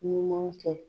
Ɲuman kɛ